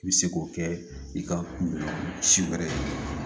I bɛ se k'o kɛ i ka si wɛrɛ ye